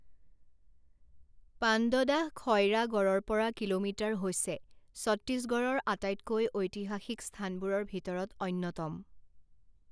পাণ্ডদাহ খইৰাগড়ৰ পৰা কিলোমিটাৰ হৈছে ছত্তীশগড়ৰ আটাইতকৈ ঐতিহাসিক স্থানবোৰৰ ভিতৰত অন্যতম।